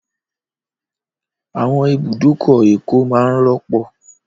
Àwọn ibùdókọ̀ Èkó máa n rọ́pọ̀